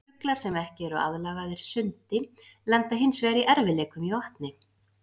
Fuglar sem ekki eru aðlagaðir sundi lenda hins vegar í erfiðleikum í vatni.